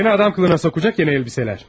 Səni insan qiyafətinə salacaq yeni paltarlar.